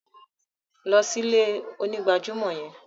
Lọ sí ilẹ̀-onígbàjàmọ́ yẹn!